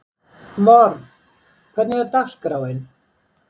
Vorm, hvernig er dagskráin?